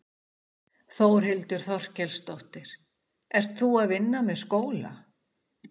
Þórhildur Þorkelsdóttir: Ert þú að vinna með skóla?